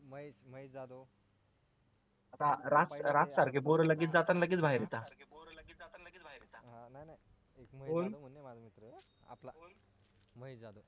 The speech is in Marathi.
राज सारखी पोर लगेच जातात लगेच बाहेर येतात